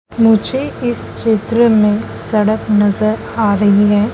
मुझे इस चित्र में सड़क नजर आ रही है।